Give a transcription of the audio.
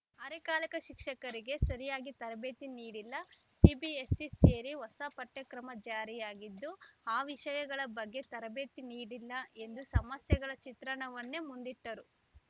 ಅರೆಕಾಲಿಕ ಶಿಕ್ಷಕರಿಗೆ ಸರಿಯಾಗಿ ತರಬೇತಿ ನೀಡಿಲ್ಲ ಸಿಬಿಎಸ್‌ಸಿ ಸೇರಿ ಹೊಸ ಪಠ್ಯಕ್ರಮ ಜಾರಿಯಾಗಿದ್ದು ಆ ವಿಷಯಗಳ ಬಗ್ಗೆ ತರಬೇತಿ ನೀಡಿಲ್ಲ ಎಂದು ಸಮಸ್ಯೆಗಳ ಚಿತ್ರಣವನ್ನೇ ಮುಂದಿಟ್ಟರು